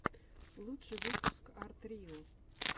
лучший выпуск арт рио